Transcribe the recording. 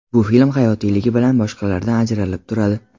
Bu film hayotiyligi bilan boshqalardan ajralib turadi.